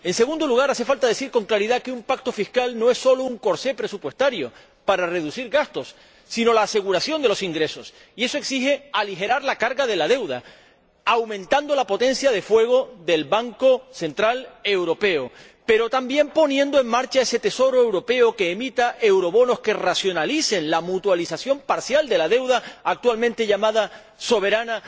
En segundo lugar, hace falta decir con claridad que un pacto fiscal no es solo un corsé presupuestario para reducir gastos, sino la aseguración de los ingresos, y eso exige aligerar la carga de la deuda, aumentando la potencia de fuego del Banco Central Europeo, pero también poniendo en marcha ese Tesoro europeo que emita eurobonos que racionalicen la mutualización parcial de la deuda de los Estados miembros, actualmente llamada soberana,